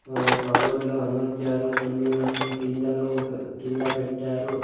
ఆ కబోర్డ్ లో అమర్చారు కొన్ని మాత్రం కిందలో కింద పెట్టారు.